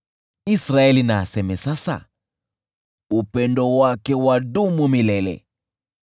Israeli na aseme sasa: “Upendo wake wadumu milele.”